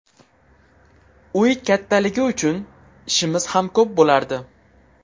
Uy kattaligi uchun ishimiz ham ko‘p bo‘lardi.